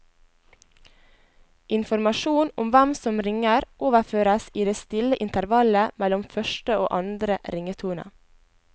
Informasjon om hvem som ringer overføres i det stille intervallet mellom første og andre ringetone.